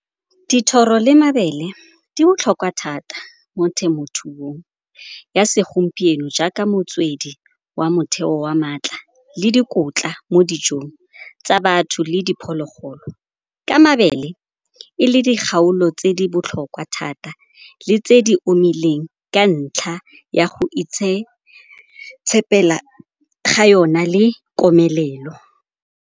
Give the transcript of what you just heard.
Dithoro le mabele di botlhokwa thata mo temothuong ya segompieno jaaka motswedi wa motheo wa maatla le dikotla mo dijong tsa batho le diphologolo. Ka mabele e le di kgaolo tse di botlhokwa thata le tse di omileng ka ntlha ya go itshepela ga yona le komelelo.